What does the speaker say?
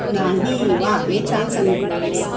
नाही. वा. हे छान सांगितलंस.